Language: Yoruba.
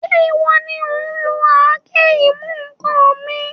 Ṣé ìwọ ni òun lo àáké-ìmú-ǹkan mi?